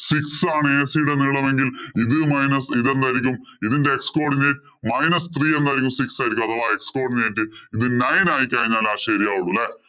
six ആണ്. AC നീളമെങ്കില്‍ ഇത് minus ഇത് എന്തായിരിക്കും? ഇതിന്‍റെ x codinate minus three എന്നായിരിക്കും six എഴുതുക അഥവാ x codinate ഇത് nine ആയി കഴിഞ്ഞാലെ ശരിയാവുകയുള്ളൂ. അല്ലേ. nine ഉം, two ഉം point ആകുമ്പോള്‍ നോക്കിക്കൊള്ളൂ. എളുപ്പമല്ലേ